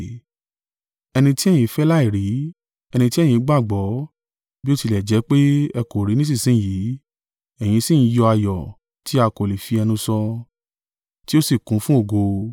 Ẹni tí ẹ̀yin fẹ́ láìrí, ẹni tí ẹ̀yin gbàgbọ́, bí ó tilẹ̀ jẹ́ pé ẹ kò rí i nísinsin yìí ẹ̀yin sì ń yọ ayọ̀ tí a kò lè fi ẹnu sọ, tí ó sì kún fún ògo;